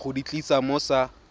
go di tlisa mo sa